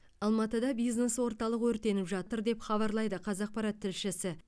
алматыда бизнес орталық өртеніп жатыр деп хабарлайды қазақпарат тілшісі